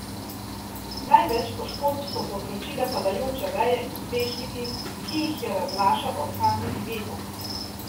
Največ poškodb so povzročile padajoče veje in strešniki, ki jih je raznašal orkanski veter.